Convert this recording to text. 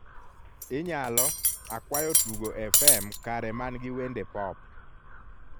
inyalo akwayo tugo fm kare man gi wende pop